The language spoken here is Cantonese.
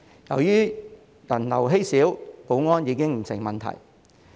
由於人流稀少，保安已經不成問題。